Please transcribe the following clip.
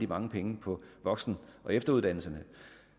mange penge på voksen og efteruddannelserne